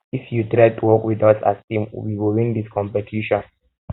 if you try work wit us as team we go win dis competition